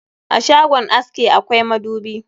A shagon aske akwai madubi